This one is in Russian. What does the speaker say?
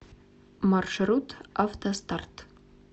маршрут автостарт